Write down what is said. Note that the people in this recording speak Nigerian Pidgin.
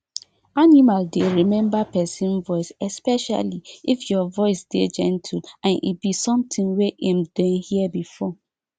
animal dey remember pesin voice especially if your voice dey gentle and e be somtin wey em don hear before